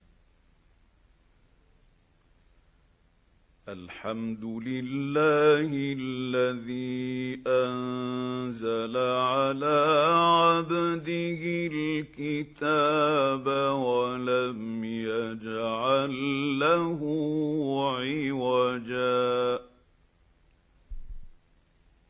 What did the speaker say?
الْحَمْدُ لِلَّهِ الَّذِي أَنزَلَ عَلَىٰ عَبْدِهِ الْكِتَابَ وَلَمْ يَجْعَل لَّهُ عِوَجًا ۜ